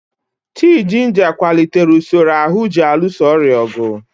Tii jinja kwalitere usoro ahụ ji alụso ọrịa ọgụ.